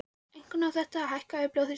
Einkum á þetta við um hækkaðan blóðþrýsting.